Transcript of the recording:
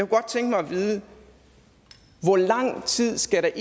godt tænke mig at vide hvor lang tid der skal